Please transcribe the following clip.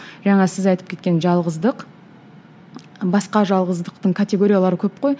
жаңа сіз айтып кеткен жалғыздық басқа жалғыздықтың категориялары көп қой